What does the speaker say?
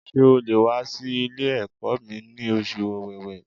Ṣé o le wà sí Ilé ẹ̀kọ́ mi ní oṣù Ọ̀wẹ̀wẹ̀